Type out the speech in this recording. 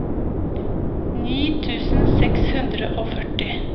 ni tusen seks hundre og førti